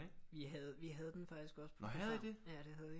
Vi havde vi havde den faktisk også på program ja det havde vi